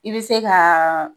I be se gaa